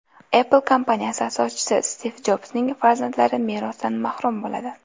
Apple kompaniyasi asoschisi Stiv Jobsning farzandlari merosdan mahrum bo‘ladi.